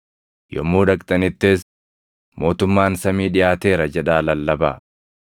Yommuu dhaqxanittis, ‘mootummaan samii dhiʼaateera’ jedhaa lallabaa.